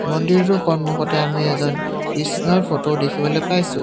মন্দিৰটোৰ সন্মুখতে আমি এজন কৃষ্ণৰ ফটো দেখিবলে পাইছোঁ।